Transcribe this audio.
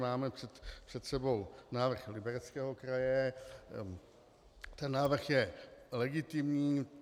Máme před sebou návrh Libereckého kraje, ten návrh je legitimní.